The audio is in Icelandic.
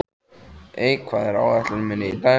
Eik, hvað er á áætluninni minni í dag?